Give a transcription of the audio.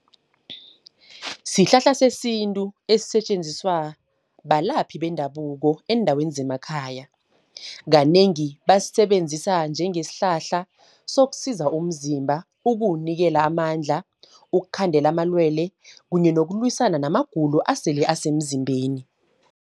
Sihlahla sesintu esisetjenziswa, balaphi bendabuko eendaweni zemakhaya. Kanengi basisebenzisa njengesihlahla sokusiza umzimba, ukuwunikela amandla. Ukukhandela amalwele, kunye nokulwisana namagulo asele asemzimbeni.